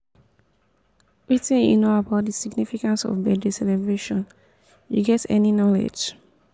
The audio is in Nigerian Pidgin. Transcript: wetin you know about di significance of birthday celebrations you get any knowledge?